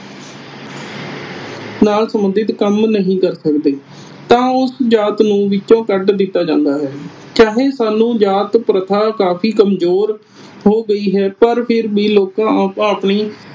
ਨਾ ਸੰਬੰਡਿਤ ਕੰਮ ਨਹੀਂ ਕਰ ਸਕਦੇ ਤਾਂ ਉਸ ਜਾਤ ਨੂੰ ਵਿਚੋਂ ਕੱਢ ਦਿੱਤਾ ਜਾਂਦਾ ਹੈ। ਚਾਹੇ ਸਾਨੂੰ ਜਾਤ ਪ੍ਰਥਾ ਕਾਫੀ ਕਮਜੂਰ ਹੋ ਗਈ ਹੈ ਪਰ ਫਿਰ ਵੀ ਲੋਕਾਂ ਆਪਣੀ